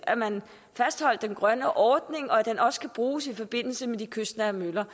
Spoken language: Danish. at man fastholdt den grønne ordning og at den også skal bruges i forbindelse med de kystnære møller